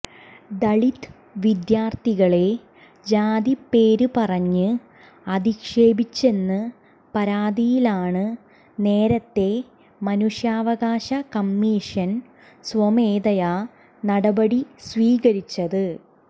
ദളിത് വിദ്യാർത്ഥികളെ ജാതിപ്പേര് പറഞ്ഞ് അധിക്ഷേപിച്ചെന്ന പരാതിയിലാണ് നേരത്തെ മനുഷ്യാവകാശ കമ്മീഷൻ സ്വമേധയാ നടപടി സ്വീകരിച്ചത്